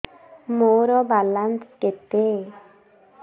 ମୋର ବାଲାନ୍ସ କେତେ